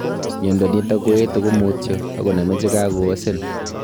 Miondo nitok ko etuu komutua akonamee chikaoseen